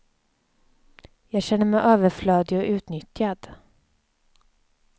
Jag känner mig överflödig och utnyttjad.